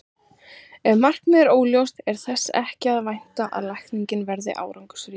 Ef markmiðið er óljóst er þess ekki að vænta að lækningin verði árangursrík.